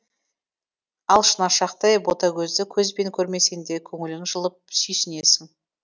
ал шынашақтай бөтагөзді көзбен көрмесеңде көңілің жылып сүйсінесің